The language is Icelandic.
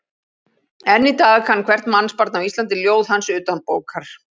Enn í dag kann hvert mannsbarn á Íslandi ljóð hans utanbókar.